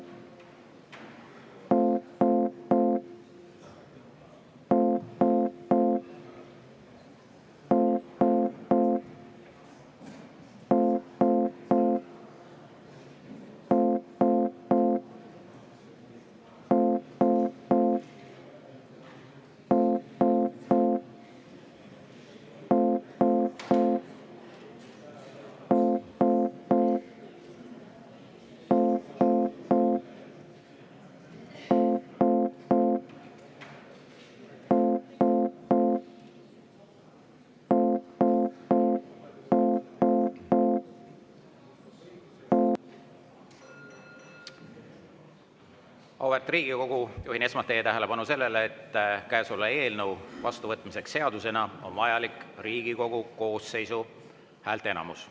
Auväärt Riigikogu, juhin esmalt teie tähelepanu sellele, et käesoleva eelnõu vastuvõtmiseks seadusena on vajalik Riigikogu koosseisu häälteenamus.